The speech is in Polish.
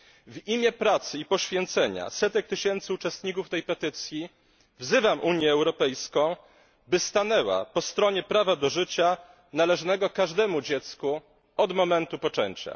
W imię pracy i poświęcenia setek tysięcy uczestników tej petycji wzywam Unię Europejską, by stanęła po stronie prawa do życia należnego każdemu dziecku od momentu poczęcia.